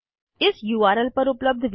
इस उर्ल पर उपलब्ध विडिओ देखें